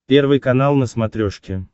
первый канал на смотрешке